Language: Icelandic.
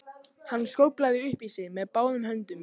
Hann skóflaði upp í sig með báðum höndum.